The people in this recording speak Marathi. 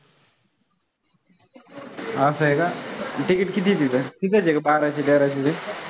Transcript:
असं आहे का? ticket किती आहे तिथं? किती बाराशे तेराशे रुपये.